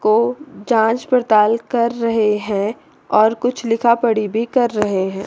को जांच पड़ताल कर रहे हैं और कुछ लिखा पड़ी भी कर रहे हैं।